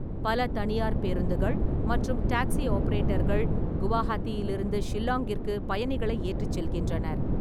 பல தனியார் பேருந்துகள் மற்றும் டாக்சி ஆபரேட்டர்கள் குவஹாத்தியிலிருந்து ஷில்லாங்கிற்கு பயணிகளை ஏற்றிச் செல்கின்றனர்.